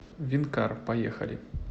винкар поехали